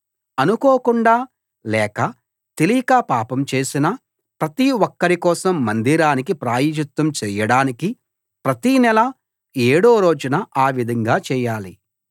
అనుకోకుండా లేక తెలియక పాపం చేసిన ప్రతి ఒక్కరి కోసం మందిరానికి ప్రాయశ్చిత్తం చేయడానికి ప్రతి నెల ఏడో రోజున ఆ విధంగా చేయాలి